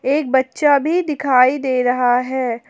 एक बच्चा भी दिखाई दे रहा है।